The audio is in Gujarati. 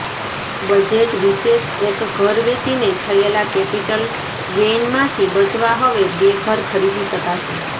બજેટ વિશેષઃ એક ઘર વેચીને થયેલા કેપિટલ ગેઈનમાંથી બચવા હવે બે ઘર ખરીદી શકાશે